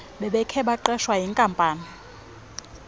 bebekhe baqeshwa yinkampani